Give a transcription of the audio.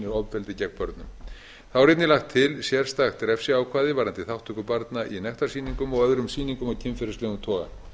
ofbeldi gegn börnum þá er einnig lagt til sérstakt refsiákvæði varðandi þátttöku barna í nektarsýningum og öðrum sýningum af kynferðislegum toga